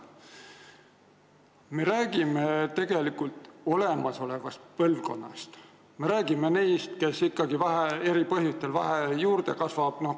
Me räägime tegelikult kõikidest põlvkondadest.